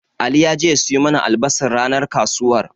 Ali ya je ya siyo mana albasar ranar kasuwar.